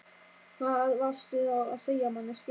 Hvað varstu þá að segja manneskja?